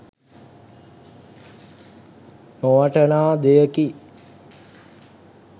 නොවටනා දෙයකි